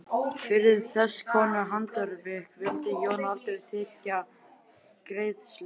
Fyrir þesskonar handarvik vildi Jón aldrei þiggja greiðslu.